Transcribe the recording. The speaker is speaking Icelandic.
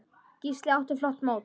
Gísli átti flott mót.